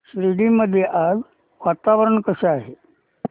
शिर्डी मध्ये आज वातावरण कसे आहे